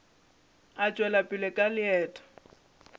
a tšwela pele ka leeto